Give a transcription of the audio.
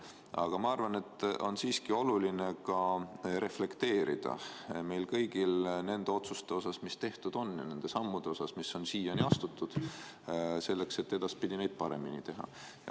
Aga ma arvan, et on siiski oluline reflekteerida kõiki neid otsuseid, mis tehtud on, ja neid samme, mis on siiani astutud – seda selleks, et edaspidi paremini teha.